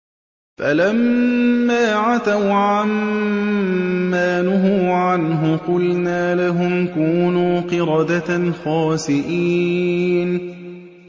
فَلَمَّا عَتَوْا عَن مَّا نُهُوا عَنْهُ قُلْنَا لَهُمْ كُونُوا قِرَدَةً خَاسِئِينَ